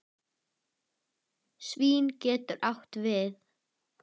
Svín getur átt við